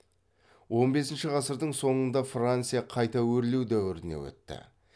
он бесінші ғасырдың соңында франция қайта өрлеу дәуіріне өтті